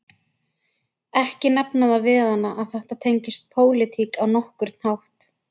Ekki nefna það við hana að þetta tengist pólitík á nokkurn hátt